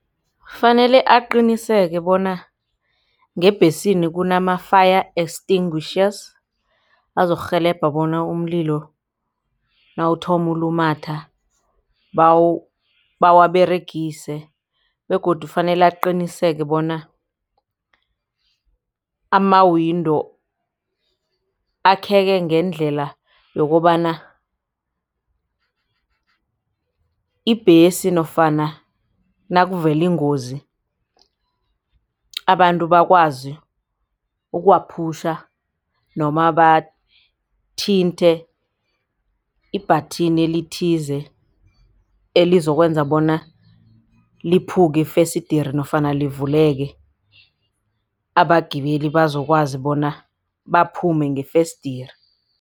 Kufanele aqiniseke bona ngebhesini kunama-fire extinguishers. Azokurhelebha bona umlilo nawuthoma ulumatha bawaberegise begodu fanele aqiniseke bona ama-window akheke ngendlela yokobana ibhesi nofana nakuvele ingozi abantu bakwazi ukuwaphutjha noma bathinte i-batten elithize elizokwenza bona liphuke ifesidere nofana livuleke abagibeli bazokwazi bona baphume ngefesidere.